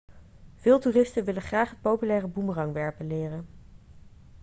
veel toeristen willen graag het populaire boemerangwerpen leren